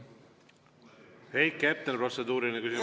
Heiki Hepner, protseduuriline küsimus.